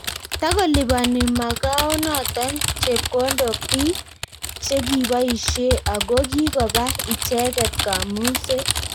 Takolipani Makaonoto Chepkondok biik chekiboishei ako kikopa icheget Kamung'set